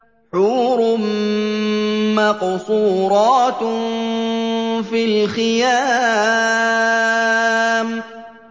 حُورٌ مَّقْصُورَاتٌ فِي الْخِيَامِ